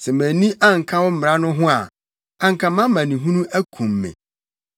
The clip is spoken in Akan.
Sɛ mʼani anka wo mmara no ho a, anka mʼamanehunu akum me.